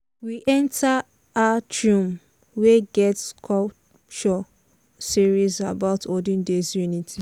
we enter atrium wey get sculpture series about olden days unity.